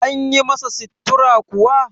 an yi masa sittura kuwa?